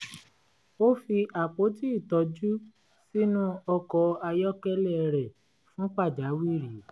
ó fi àpòtí ìtọ́jú sínú ọkọ̀ ayọ́kẹ́lẹ́ rẹ̀ fún pàjáwìrì